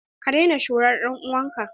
Ka daina shura dan'uwan ka!